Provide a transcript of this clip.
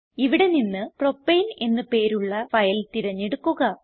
ഇവിടെ നിന്ന് propaneഎന്ന് പേരുള്ള ഫയൽ തിരഞ്ഞെടുക്കുക